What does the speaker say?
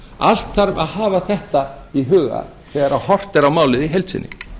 allt þarf að hafa þetta í huga þegar horft er á málið í heild sinni